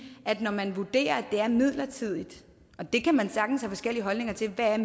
at når man vurderer at det er midlertidigt det kan man sagtens have forskellige holdninger til hvad